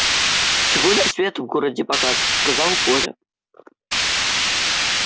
сегодня свет в городе погас сказал коля